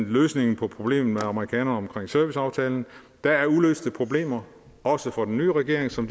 løsning af problemet med amerikanerne om serviceaftalen der er uløste problemer også for den nye regering som